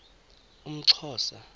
umxhosa